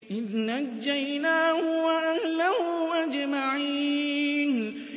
إِذْ نَجَّيْنَاهُ وَأَهْلَهُ أَجْمَعِينَ